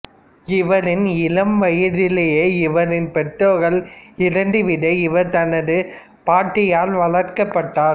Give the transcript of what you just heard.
இவரின் இளம் வயதிலேயே இவரின் பெற்றோர்கள் இறந்து விட இவர் தனது பாட்டியால் வளர்க்கப்பட்டார்